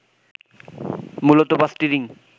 মূলত পাঁচটি রিং